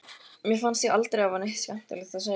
Mér fannst ég aldrei hafa neitt skemmtilegt að segja.